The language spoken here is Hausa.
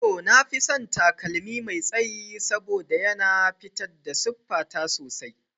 To, na fi son takalmi mai tsayi domin yana fitar da siffata sosai.